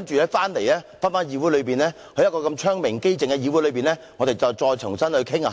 然後當他們回到這個窗明几淨的議會內與我們重新討論